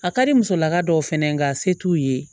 A ka di musolaka dɔw fɛnɛ n ka se t'u ye